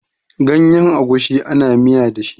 Ganyen agushi ana miya da shi.